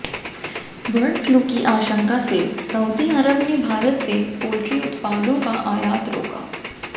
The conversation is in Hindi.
बर्ड फ्लू की आशंका से सऊदी अरब ने भारत से पोल्ट्री उत्पादों का आयात रोका